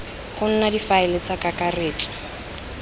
go nna difaele tsa kakaretso